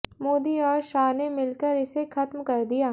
मोदी और शाह ने मिलकर इसे खत्म कर दिया